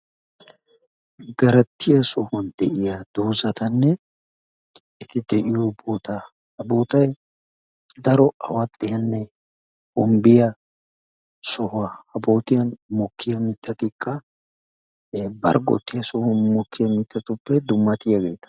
Garaatiyaa sohuwan de'iyaa doozatanne eti de'iyo sohuwa. eti de'iyo boota, ha bootay daro awaxxiyanne barggotiyaa sohuwa. ha bootan mokki mittatikka barggotun mokkiya mittatuppekka dummatiyaageeta.